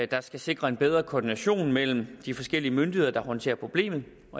der skal sikre en bedre koordination mellem de forskellige myndigheder der håndterer problemet